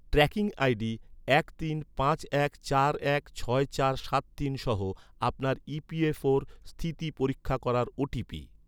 tracking ID, এক তিন পাঁচ এক চার এক ছয় চার সাত তিন সহ আপনার ই.পি.এফ.ওর স্থিতি পরীক্ষা করার ওটিপি